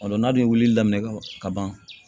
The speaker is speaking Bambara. A don n'a de ye wulili daminɛ kaban